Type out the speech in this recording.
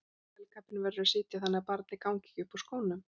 Hælkappinn verður að sitja þannig að barnið gangi ekki upp úr skónum.